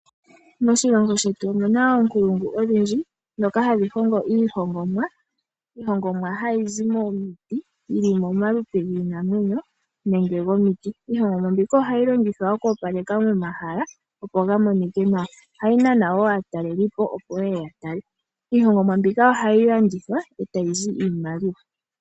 Moshilongo shetu omu na oonkulungu odhindji, ndhoka hadhi hongo iihoongomwa. Iihongomwa ha yi zi momiti yi li momaludhi giinamwenyo nenge gomiti. Iihongomwa mbika oha yi longithwa oku opaleka momahala opo ga monikwe nawa. Oha yi nana woo aatalelipo opo ye ye ya tale. Iihongomwa mbika oha yi landithwa ee ta yi zi iimaliwa.